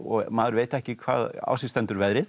maður veit ekki hvaðan á sig stendur veðrið